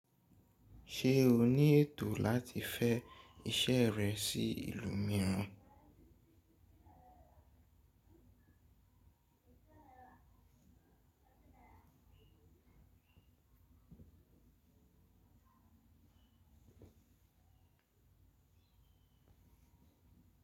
Ṣe o ni eto lati fẹ iṣẹ rẹ si ilu miiran?